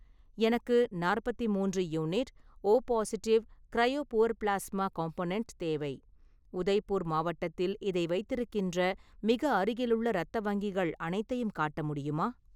எனக்கு நாற்பத்தி மூன்று unit O positive cryo poor plasma component தேவை, உதய்பூர் மாவட்டத்தில் இதை வைத்திருக்கின்ற மிக அருகிலுள்ள இரத்த வங்கிகள் அனைத்தையும் காட்ட முடியுமா?